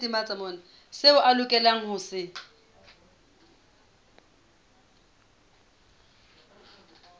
seo a lokelang ho se